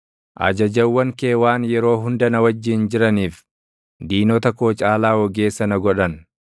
Ajajawwan kee waan yeroo hunda na wajjin jiraniif, diinota koo caalaa ogeessa na godhan.